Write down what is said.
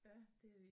Ja det